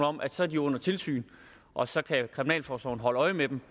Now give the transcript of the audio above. om at så er de under tilsyn og så kan kriminalforsorgen holde øje med dem